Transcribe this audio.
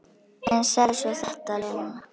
En sagði svo þetta, Lena.